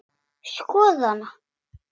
Skoða hana?